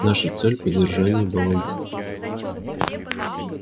наша цель поддержание баланса